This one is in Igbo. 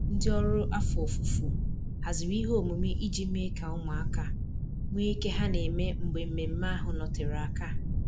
Ndị ọrụ afọ ofufo haziri ihe omume iji mee ka ụmụaka nwe ike ha na-eme mgbe mmemmé ahụ nọtere aka.